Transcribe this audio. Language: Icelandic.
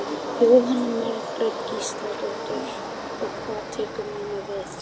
Jóhanna Margrét Gísladóttir: Og hvað tekur núna við?